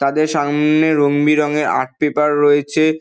তাদের সামনে রঙ বেরঙের আর্ট পেপার রয়েছে।